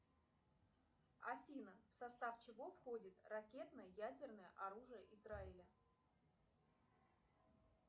афина в состав чего входит ракетно ядерное оружие израиля